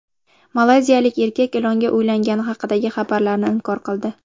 Malayziyalik erkak ilonga uylangani haqidagi xabarlarni inkor qildi.